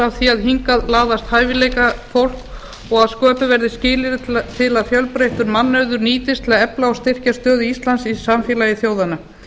að hingað laðist hæfileikafólk og að sköpuð verði skilyrði til að fjölbreyttur mannauður nýtist til að efla og styrkja stöðu íslands í samfélagi þjóðanna